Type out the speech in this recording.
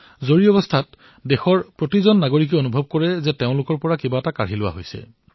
প্ৰথমে দেশৰ নাগৰিক অনুভৱ কৰিবলৈ লৈছিল যে তেওঁলোকৰ পৰা কিবা এটা কাঢ়ি লোৱা হৈছে